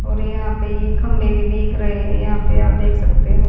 और यहां पे ये खंबे भी देख रहे हैं यहां पे आप देख सकते हो।